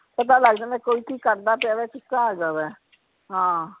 ਪਤਾ ਲਗ ਜਾਂਦਾ ਕੋਈ ਕਿ ਕਰਦਾ ਪਿਆ ਕਿਸ ਤਰਾਹ ਹੇਗਾ ਵਾ ਹਾਂ